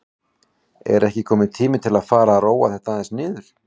Er ekki kominn tími til að fara að róa þetta aðeins niður?